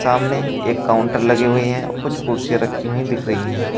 सामने एक काउंटर लगी हुई हैं कुछ कुर्सियां रखी हुई दिख रही हैं।